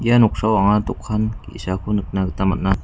ia noksao anga dokan ge·sako nikna gita man·a.